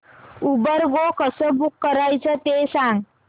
Uber go कसं book करायचं ते सांग